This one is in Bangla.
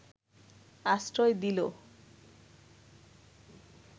আশ্রয় দিল